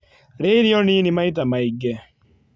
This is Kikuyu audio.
Rĩa irio nĩnĩ maĩta maĩngĩ